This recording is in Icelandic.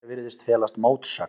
Hér virðist felast mótsögn.